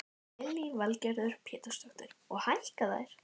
Lillý Valgerður Pétursdóttir: Og hækka þær?